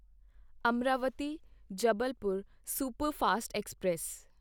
Amaravati Jabalpur superfast express